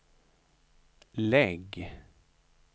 lägg